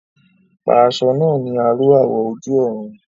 Pa aṣọ náà ní aró awọ̀ ojú-ọ̀run